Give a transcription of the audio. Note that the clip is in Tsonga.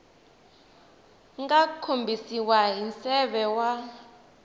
nga kombisiwa hi nseve wa